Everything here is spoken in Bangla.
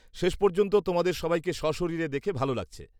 -শেষ পর্যন্ত তোমাদের সবাইকে সশরীরে দেখে ভালো লাগছে।